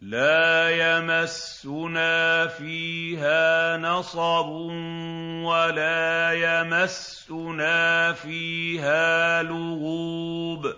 وَلَا يَمَسُّنَا فِيهَا لُغُوبٌ